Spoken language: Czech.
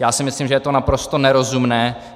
Já si myslím, že je to naprosto nerozumné.